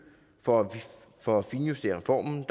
for for at finjustere reformen